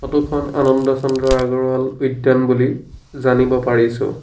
Photo খন আনন্দ চন্দ্ৰ আগৰৱাল উদ্যান বুলি জানিব পাৰিছোঁ।